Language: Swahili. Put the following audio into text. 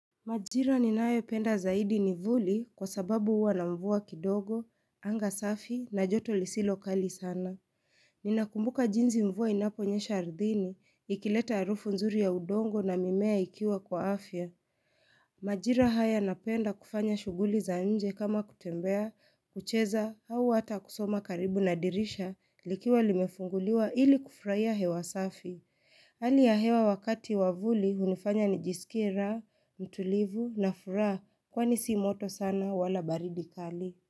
Majira ninayopenda zaidi ni vuli kwa sababu huwa na mvua kidogo, anga safi na joto lisilokali sana. Ninakumbuka jinsi mvua inaponyesha ardhini, ikileta arufu nzuri ya udongo na mimea ikiwa kwa afya. Majira haya yanapenda kufanya shughuli za nje kama kutembea, kucheza, au hata kusoma karibu na dirisha likiwa limefunguliwa ili kufraia hewa safi. Hali ya hewa wakati wa vuli hunifanya nijisikie raa, mtulivu na furaha kwani si moto sana wala baridi kali.